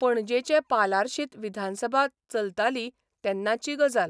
पणजेंचे पालार्शीत विधानसभा चलताली तेन्नाची गजाल.